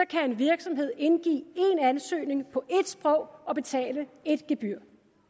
kan en virksomhed indgive én ansøgning på ét sprog og betale ét gebyr